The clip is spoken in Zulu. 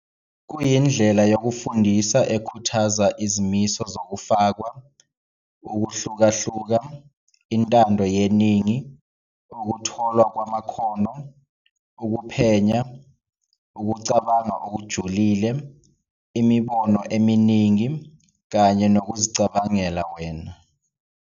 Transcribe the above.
Kuyindlela yokufundisa ekhuthaza izimiso zokufakwa, ukuhlukahluka, intando yeningi, ukutholwa kwamakhono, ukuphenya, ukucabanga okujulile, imibono eminingi, kanye nokuzicabangela wena.